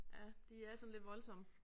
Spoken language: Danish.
Ja de er sådan lidt voldsomme